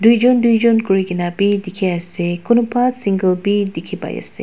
duijun duijun kurigena wi dikhi ase kunuba single wii dikhi pai ase.